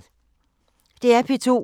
DR P2